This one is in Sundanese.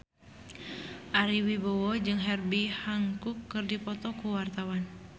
Ari Wibowo jeung Herbie Hancock keur dipoto ku wartawan